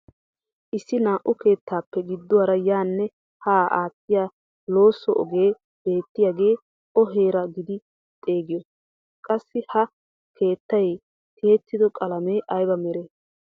Issi naa"u keettaappe gidduwaara yaanne haa aattiyaa loosso ogee beettiyaaga o heeraa gidi xeegiyoo? Qassi ha keettay tiyettido qalamee ayba meree?